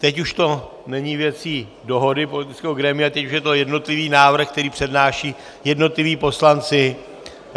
Teď už to není věcí dohody politického grémia, teď už je to jednotlivý návrh, který přednášejí jednotliví poslanci.